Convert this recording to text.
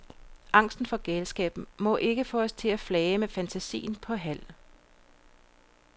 Angsten for galskaben må ikke få os til at flage med fantasien på halv.